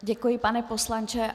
Děkuji, pane poslanče.